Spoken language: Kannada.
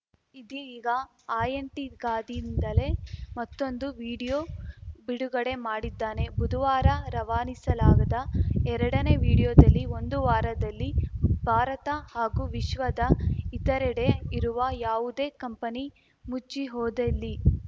ಇದೀಗ ಆಯಂಟಿಗಾದಿಂದಲೇ ಮತ್ತೊಂದು ವಿಡಿಯೋ ಬಿಡುಗಡೆ ಮಾಡಿದ್ದಾನೆ ಬುಧುವಾರ ರವಾನಿಸಲಾಗದ ಎರಡನೇ ವಿಡಿಯೋದಲ್ಲಿ ಒಂದು ವಾರದಲ್ಲಿ ಭಾರತ ಹಾಗೂ ವಿಶ್ವದ ಇತರೆಡೆ ಇರುವ ಯಾವುದೇ ಕಂಪನಿ ಮುಚ್ಚಿ ಹೋದೆಲ್ಲಿ